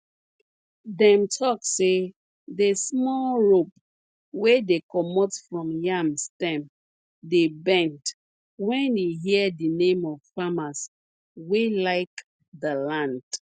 dem talk say the small rope wey dey comot from yam stem dey bend wen e hear the name of farmers wey like the land